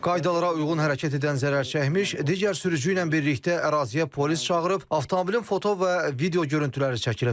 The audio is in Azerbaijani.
Qaydalara uyğun hərəkət edən zərər çəkmiş, digər sürücü ilə birlikdə əraziyə polis çağırıb, avtomobilin foto və video görüntüləri çəkilib.